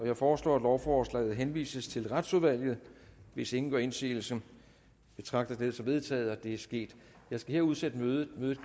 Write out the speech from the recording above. jeg foreslår at lovforslaget henvises til retsudvalget hvis ingen gør indsigelse betragter jeg dette som vedtaget det er sket jeg skal her udsætte mødet mødet